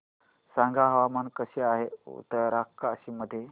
सांगा हवामान कसे आहे उत्तरकाशी मध्ये